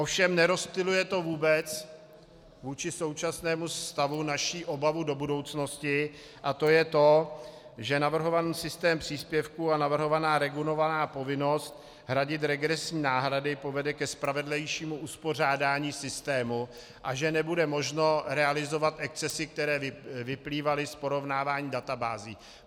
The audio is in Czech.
Ovšem nerozptyluje to vůbec vůči současnému stavu naši obavu do budoucnosti, a to je to, že navrhovaný systém příspěvků a navrhovaná regulovaná povinnost hradit regresní náhrady povede ke spravedlivějšímu uspořádání systému a že nebude možno realizovat excesy, které vyplývaly z porovnávání databází.